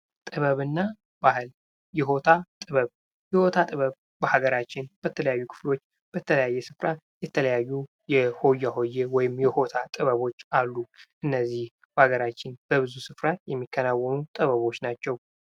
ጥበብ እና ባህል የሆታ ጥበብ ።የሆታ ጥበብ በሀገራችን በተለያየ ክፍሎች በተለያየ ስፍራ የተለያዩ የሆያ ሆዬ ወይም የሆታ ጥበቦች አሉ። እነዚህ በሀገራችን በብዙ ስፍራ የሚከናወኑ ጥበቦች ናቸው።